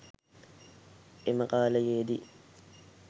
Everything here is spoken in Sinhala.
එම කාලයේ දී